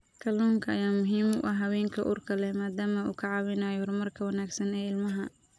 Kalluunka ayaa muhiim u ah haweenka uurka leh maadaama uu ka caawinayo horumarka wanaagsan ee ilmaha.